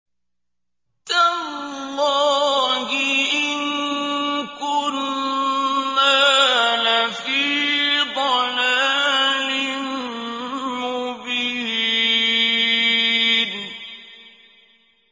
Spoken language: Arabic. تَاللَّهِ إِن كُنَّا لَفِي ضَلَالٍ مُّبِينٍ